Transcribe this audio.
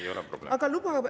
Ei ole probleemi.